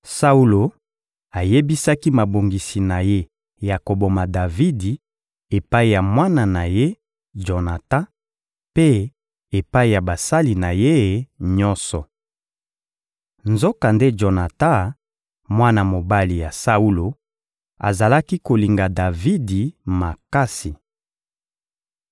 Saulo ayebisaki mabongisi na ye ya koboma Davidi epai ya mwana na ye, Jonatan, mpe epai ya basali na ye nyonso. Nzokande Jonatan, mwana mobali ya Saulo, azalaki kolinga Davidi makasi.